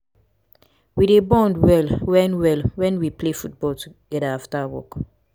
we dey bond well wen well wen we play football togeda after work.